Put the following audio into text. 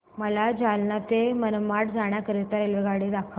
मला जालना ते मनमाड जाण्याकरीता रेल्वेगाडी दाखवा